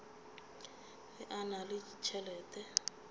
ge a na le tšhelete